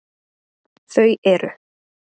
Þau eru: